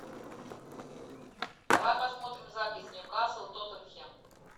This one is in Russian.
давай посмотрим запись ньюкасл тоттенхэм